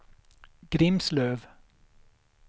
Grimslöv